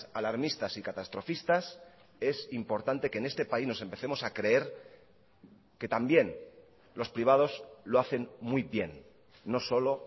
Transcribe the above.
alarmistas y catastrofistas es importante que en este país nos empecemos a creer que también los privados lo hacen muy bien no solo